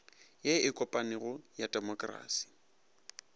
ye e kopanego ya temokrasi